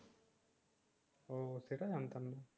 ও সেটা জানতাম না